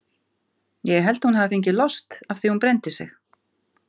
Ég held að hún hafi fengið lost af því að hún brenndi sig.